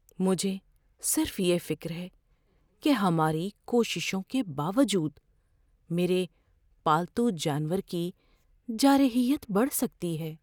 مجھے صرف یہ فکر ہے کہ ہماری کوششوں کے باوجود، میرے پالتو جانور کی جارحیت بڑھ سکتی ہے۔